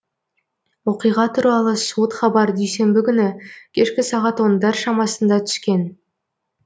оқиға туралы суыт хабар дүйсенбі күні кешкі сағат ондар шамасында түскен